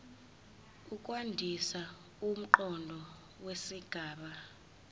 ukwandisa umqondo wesigaba